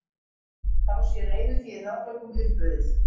Þá sé reiðufé í hraðbönkum uppurið